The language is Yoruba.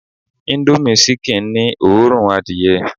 índómì ṣikìn ni òórùn adìyẹ